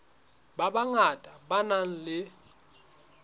ba bangata ba nang le